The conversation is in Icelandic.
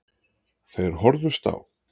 Þeir horfðust á.